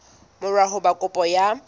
mora ho ba kopo ya